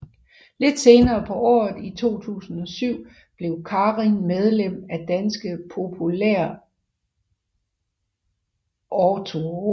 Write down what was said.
Lidt senere på året 2007 blev Karin medlem af Danske Populærautorer